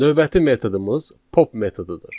Növbəti metodumuz pop metodudur.